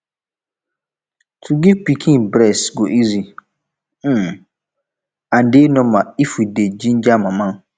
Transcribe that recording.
to give pikin breast go easy um and dey normal if we dey ginja mama